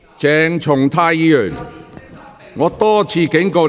鄭松泰議員，請坐下。